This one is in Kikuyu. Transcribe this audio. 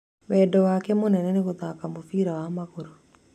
Wendi wake mũnene nĩ gũthaaka mũbira wa magũrũ.